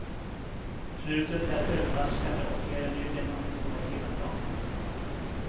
Slutet är överraskande och ger en ny dimension åt hela dramat.